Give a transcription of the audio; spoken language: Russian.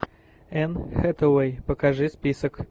энн хэтэуэй покажи список